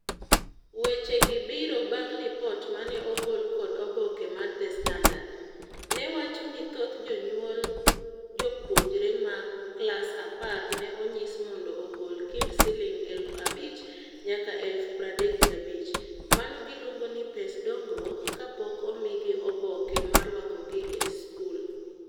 Weche gi obiro bang' lipot mane ogol kod oboke mar The Standard. Newacho ni thoth jonyuol jopuojre ma klas apar ne onyis mondo ogol kind siling eluf abich nyaka eluf pradek gabich. Mano giluongo ni ' pes dongruok' kapok omigi oboke marwakogi ei skul.